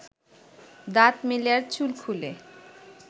দাঁত মেলে আর চুল খুলে